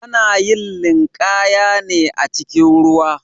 Ana yin linƙaya ne acikin ruwa.